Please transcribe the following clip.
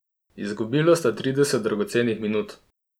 Izgubila sta trideset dragocenih minut.